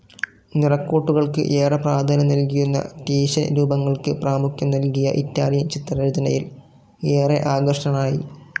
നിറക്കൂട്ടുകൾക്കു ഏറെ പ്രാധാന്യം നൽകിയിരുന്ന റ്റീഷ്യൻ രൂപങ്ങൾക്ക് പ്രാമുഖ്യം നൽകിയ ഇറ്റാലിയൻ ചിത്രരചനയിൽ ഏറെ ആകൃഷ്ടനായി.